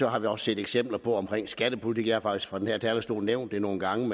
har vi også set eksempler på omkring skattepolitikken og fra den her talerstol nævnt det nogle gange